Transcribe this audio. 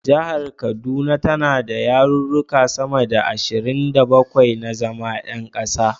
Jihar kaduna tana da yaruruka sama da ashirin da bakwai na zama yan kasa.